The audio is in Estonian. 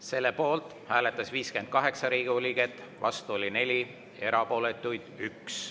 Selle poolt hääletas 58 Riigikogu liiget, vastu oli 4, erapooletuid 1.